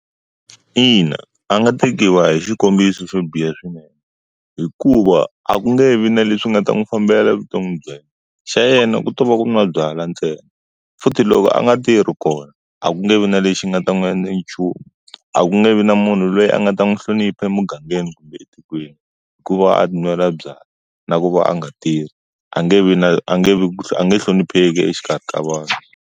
Ina, a nga tekiwa hi xikombiso fambile swinene. Hikuva a ku nge vi na leswi nga ta n'wi fambela evuton'wini bya yena. Xa yena ku to va ku nwa byala ntsena. Futhi loko a nga tirhi kona, a ku nge vi na lexi nga ta n'wi endla nchumu. A ku nge vi na munhu loyi a nga ta n'wi hlonipha emugangeni kumbe etikweni. Hikuva a ti nwela byala, na ku va a nga tirhi, a nge vi na a nge vi a nge hlonipheki exikarhi ka vanhu.